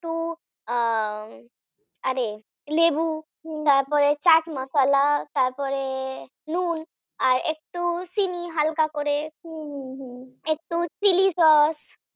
তো আহ আরে লেবু তারপরে চাট মশলা তারপরে নুন আর একটু চিনি হালকা করে একটু Chilli sauce